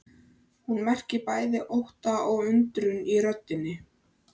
Hún merkir bæði ótta og undrun í röddinni.